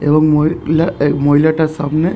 এবং মহি-লা এক মহিলাটার সামনে ।